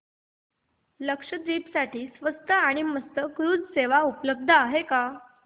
लक्षद्वीप साठी स्वस्त आणि मस्त क्रुझ सेवा उपलब्ध आहे का